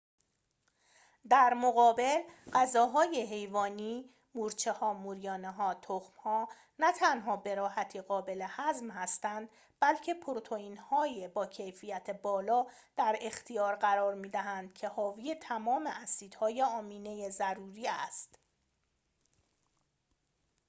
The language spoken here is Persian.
در مقابل، غذاهای حیوانی مورچه‌ها، موریانه‌ها‌، تخم‌ها نه تنها به راحتی قابل هضم هستند بلکه پروتئین‌های با کیفیت بالا در اختیار قرار می‌دهند که حاوی تمام اسیدهای آمینه ضروری است